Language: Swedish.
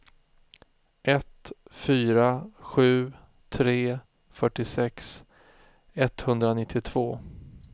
ett fyra sju tre fyrtiosex etthundranittiotvå